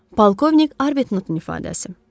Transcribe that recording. Polkovnik Arbtnottun ifadəsi.